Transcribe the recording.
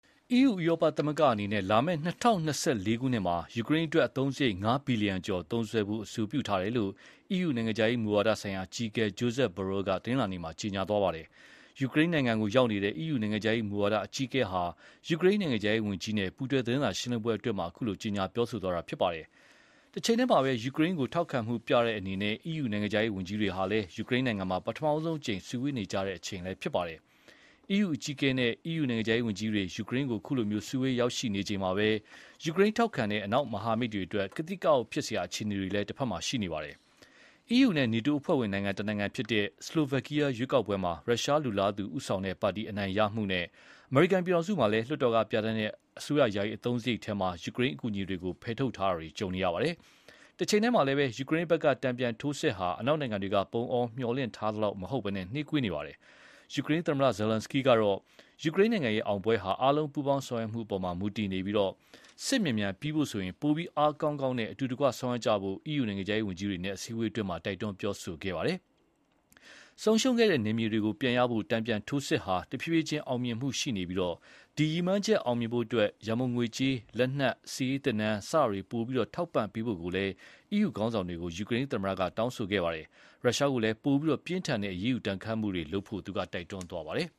EU ဥရောပသမဂ္ဂအနေနဲ့ လာမယ့် ၂၀၂၄ ခုနှစ်မှာ ယူကရိန်းအတွက် အသုံးစရိတ် ၅ ဘီလံယံကျော်သုံးစွဲဖို့ အဆိုပြုထားတယ်လို့ EU နိုင်ငံခြားရေးမူဝါဒဆိုင်ရာအကြီးအကဲ Josep Borrell က တနင်္လာနေ့က ကြေညာခဲ့ပါတယ်။ ယူကရိန်းနိုင်ငံရောက်နေတဲ့ EU နိုင်ငံခြားရေးမူဝါဒအကြီးအကဲဟာ ယူကရိန်းနိုင်ငံခြားရေးဝန်ကြီး Dmytro Kuleba နဲ့ ပူးတွဲသတင်းစာရှင်းလင်းပွဲမှာ အခုလို ကြေညာသွားတာပါ။ တချိန်တည်းမှာပဲ ယူကရိန်းကို ထောက်ခံမှုပြတဲ့အနေနဲ့ EU နိုင်ငံခြားရေးဝန်ကြီးတွေကလည်း ယူကရိန်းမှာ ပထမဆုံးအကြိမ် စုဝေးနေကြချိန်လည်းဖြစ်ပါတယ်။ EU အကြီးအကဲနဲ့ EU နိုင်ငံခြားရေးဝန်ကြီးတွေ ယူကရိန်းကို စုဝေးရောက်ရှိနေချိန်မှာပဲ ယူကရိန်းထောက်ခံတဲ့ အနောက်မဟာမိတ်တွေအတွက် ကသိကအောင့်ဖြစ်စရာအခြေအနေတွေလည်းရှိနေပါတယ်။ EU နဲ့ NATO အဖွဲ့ဝင်နိုင်ငံတနိုင်ငံဖြစ်တဲ့ ဆလိုဗက်ကီးယားရွေးကောက်ပွဲမှာ ရုရှားလိုလားသူဦးဆောင်တဲ့ပါတီ အနိုင်ရတာနဲ့ အမေရိကန်ပြည်ထောင်စုမှာလည်း လွှတ်တော်ကပြဌာန်းတဲ့အစိုးရယာယီအသုံးစရိတ်မှာ ယူကရိန်းအကူအညီတွေ ဖယ်ထုတ်ထားတာတွေ ကြုံနေရပါတယ်။ တချိန်တည်းမှာလည်း ယူကရိန်းဖက်က တန်ပြန်ထိုးစစ်ဟာ အနောက်နိုင်ငံတွေက ပုံအောမျှော်လင့်ထားသလောက်မဟုတ်ဘဲ နှေးကွေးနေပါတယ်။ ယူကရိန်းသမ္မတ ဇာလန်းစကီးကတော့ ယူကရိန်းရဲ့အောင်ပွဲဟာ အားလုံးပူးပေါင်းဆောင်ရွက်မှုအပေါ်မူတည်နေပြီး စစ်မြန်မြန်ပြီးဖို့ဆိုရင် ပိုပြီး အားကောင်းကောင်းနဲ့ အတူတကွဆောင်ရွက်ကြဖို့ EU နိုင်ငံခြားရေးဝန်ကြီးတွေနဲ့ အစည်းအဝေးမှာ တိုက်တွန်းပြောဆိုပါတယ်။ ဆုံးရှုံးခဲ့တဲ့နယ်မြေတွေ ပြန်ရဖို့ တန်ပြန်ထိုးစစ်ဟာ ဖြည်းဖြည်းချင်းအောင်မြင်မှုရှိနေပြီး ဒီ ရည်မှန်းချက်အောင်မြင်ဖို့အတွက် ရန်ပုံငွေကြေး၊ လက်နက်၊ စစ်ရေးသင်တန်း စတာတွေ ပိုပြီး ထောက်ပံ့ပေးဖို့ကိုလည်း EU ခေါင်းဆောင်တွေကို ယူကရိန်းသမ္မတက တောင်းဆိုပါတယ်။ ရုရှားကို ပိုပြီးပြင်းထန်တဲ့ အရေးယူဒဏ်ခတ်မှုတွေ လုပ်ဖို့လည်း တိုက်တွန်းခဲ့ပါတယ်